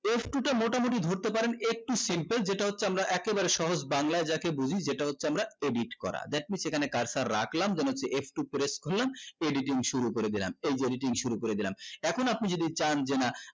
f two তে মোটামুটি ধরতে পারেন একটু f two যেটা হচ্ছে আমরা একেবারে সহজ বাংলায় যাকে বলি যেটা হচ্ছে আমরা edit করা that means এখানে কাজটা রাখলাম then একটু করে খুলাম editing শুরু করে দিলাম এই যে editing শুরু করে দিলাম এখন আপনি যদি চান যে না